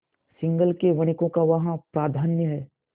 सिंहल के वणिकों का वहाँ प्राधान्य है